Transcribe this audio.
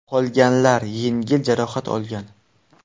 Qolganlar yengil jarohat olgan.